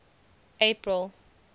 april